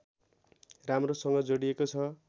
राम्रोसँग जोडिएको छ